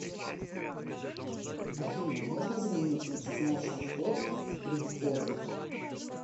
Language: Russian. афина можно заменить пятизначный вход в при входе